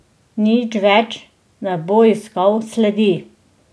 Nič več ne bo iskal sledi.